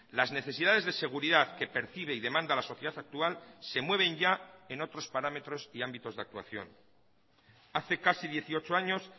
las necesidades de seguridad que percibe y demanda la sociedad actual se mueven ya en otros parámetros y ámbitos de actuación hace casi dieciocho años